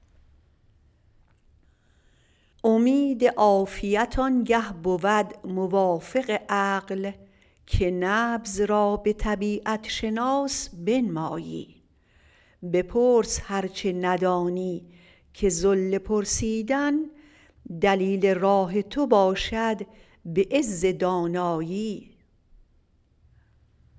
امید عافیت آنگه بود موافق عقل که نبض را به طبیعت شناس بنمایی بپرس هر چه ندانی که ذل پرسیدن دلیل راه تو باشد به عز دانایی